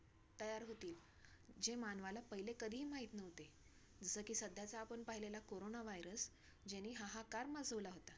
तयार होतील, जे मानवाला पहिले कधीही माहित नव्हते. जसं की साधायचा आपण पाहिलेला कोरोना virus ज्याने हाहाकार माजवला होता.